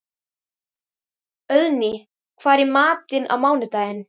Auðný, hvað er í matinn á mánudaginn?